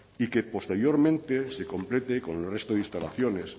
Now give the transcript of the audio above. y que posteriormente se complete con el resto de instalaciones